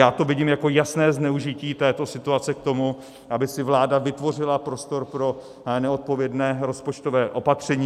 Já to vidím jako jasné zneužití této situace k tomu, aby si vláda vytvořila prostor pro neodpovědné rozpočtové opatření.